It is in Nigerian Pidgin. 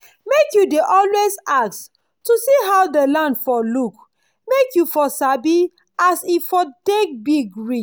make u dey always ask to see how dey land for look make u for sabi as e for take big reach